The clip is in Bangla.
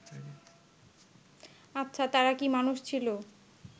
আচ্ছা তারা কি মানুষ ছিল